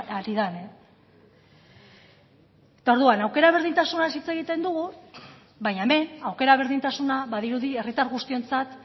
ari den eta orduan aukera berdintasunaz hitz egiten dugu baina hemen aukera berdintasuna badirudi herritar guztiontzat